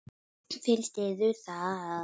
Finnst yður það?